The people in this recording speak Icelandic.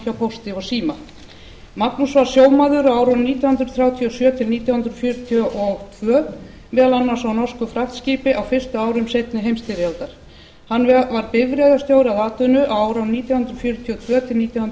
pósti og síma magnús var sjómaður á árunum nítján hundruð þrjátíu og sjö til nítján hundruð fjörutíu og tvö meðal annars á norsku fraktskipi á fyrstu árum seinni heimsstyrjaldar hann var bifreiðarstjóri að atvinnu á árunum nítján hundruð fjörutíu og tvö til nítján hundruð